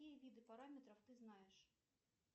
какие виды параметров ты знаешь